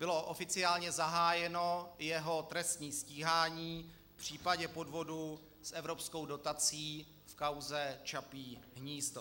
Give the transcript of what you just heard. Bylo oficiálně zahájeno jeho trestní stíhání v případě podvodu s evropskou dotací v kauze Čapí hnízdo.